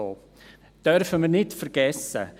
Wir dürfen nicht vergessen: